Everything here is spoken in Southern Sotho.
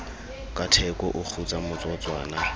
ka theko o kgutsa motsotswana